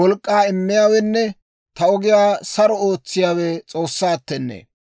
Taw wolk'k'aa immiyaawenne ta ogiyaa saro ootsiyaawe S'oossaattennee.